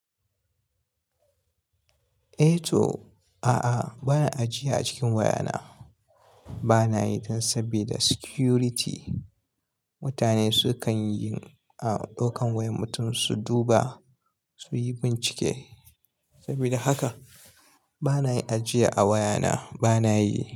Eh to, a'a ba na ajiya a cikin waya na. Bana yi tun sabida security. Mutane su kan yi a ɗaukan wayan mutum su duba, su yi bincike. Saboda haka ba na yin ajiya a waya na ba na yi.